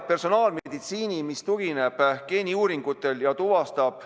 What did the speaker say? Kolm minutit.